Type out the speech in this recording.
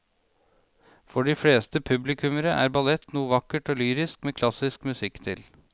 For de fleste publikummere er ballett noe vakkert og lyrisk med klassisk musikk til.